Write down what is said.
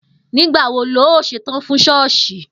Nígbà wo lo óò s̩etán fún s̩ó̩ò̩s̩ì?